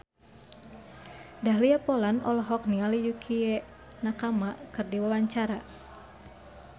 Dahlia Poland olohok ningali Yukie Nakama keur diwawancara